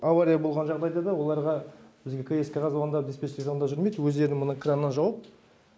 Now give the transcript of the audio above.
авария болған жағдай да оларға бізге кск ға звондап диспетчерге звондап жүрмейді өздерінің міне краннан жауып